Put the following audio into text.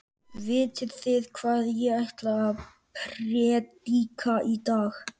Vitið þið hvað ég ætla að prédika í dag?